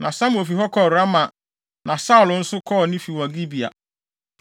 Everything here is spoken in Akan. Na Samuel fi hɔ kɔɔ Rama na Saulo nso kɔɔ ne fi wɔ Gibea.